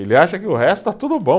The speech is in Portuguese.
Ele acha que o resto está tudo bom.